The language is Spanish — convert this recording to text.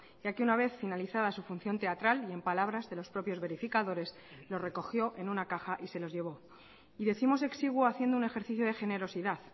ya que una vez finalizada su función teatral y en palabras de los propios verificadores lo recogió en una caja y se los llevó y décimos exiguo haciendo un ejercicio de generosidad